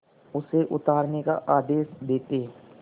उसे उतारने का आदेश देते